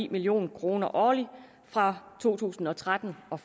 million kroner årligt fra to tusind og tretten og